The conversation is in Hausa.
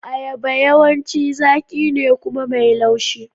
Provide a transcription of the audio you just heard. Ayaba yawanci zaƙi ne kuma mai laushi.